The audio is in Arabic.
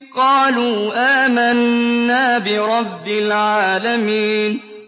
قَالُوا آمَنَّا بِرَبِّ الْعَالَمِينَ